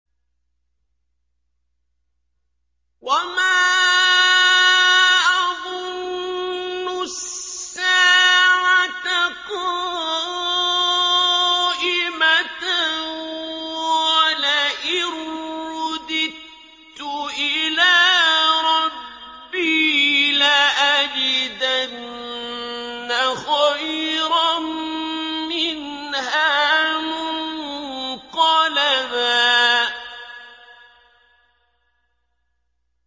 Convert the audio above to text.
وَمَا أَظُنُّ السَّاعَةَ قَائِمَةً وَلَئِن رُّدِدتُّ إِلَىٰ رَبِّي لَأَجِدَنَّ خَيْرًا مِّنْهَا مُنقَلَبًا